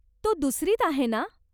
तो दुसरीत आहे ना?